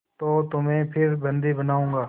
तो तुम्हें फिर बंदी बनाऊँगा